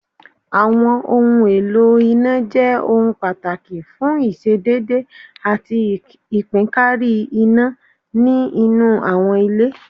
Àwọn ohun èlò iná jẹ́ ohun pàtàkì fún ìṣedédé àti ìpínkárí iná ni inú àwọn ilé